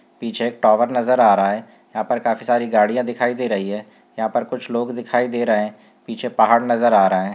पीछे एक टावर नजर आ रहा है यहाँ पर काफी सारी गाड़ियां दिखाई दे रही हैं यहाँ पे कुछ लोग दिखाई दे रहै हैं पीछे पहाड़ नज़र आ रहै हैं।